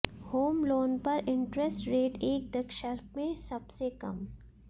home loan पर interest rate एक दशक में सबसे कम